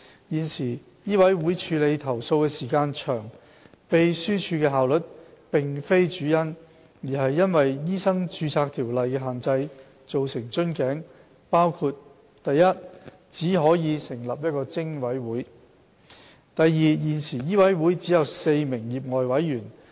現時醫委會處理投訴的時間長，秘書處的效率並非主因，而是因為《醫生註冊條例》的限制，造成瓶頸，包括： i 只可成立一個偵委會；現時醫委會只有4名業外委員。